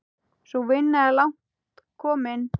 Sú vinna er langt komin.